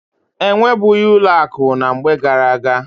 E nwebughị ụlọ akụ na mgbe gara-aga.